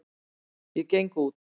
Ég geng út.